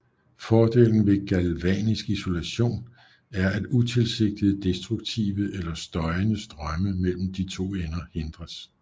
Fordelen ved Galvanisk isolation er at utilsigtede destruktive eller støjende strømme mellem de to ender hindres